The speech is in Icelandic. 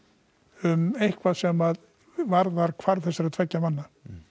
um eitthvað sem varðar hvarf þessara tveggja manna